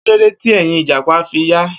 Kilode ti ẹ́yìn ijapa fi ya?